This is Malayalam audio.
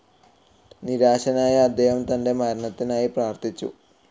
നിരാശനായ അദ്ദേഹം തൻ്റെ മരണത്തിനായി പ്രാർത്ഥിച്ചു.